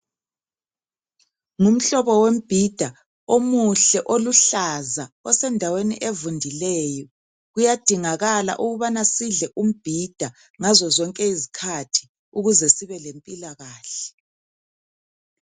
Ngumhlobo wembhida omuhle oluhlaza osendaweni evundileyo kuyadingakala ukubana sidle umbhida ngazo zonke isikhathi ukuze sibe lempilakahle.